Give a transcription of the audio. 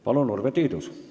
Palun, Urve Tiidus!